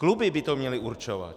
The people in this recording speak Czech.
Kluby by to měly určovat.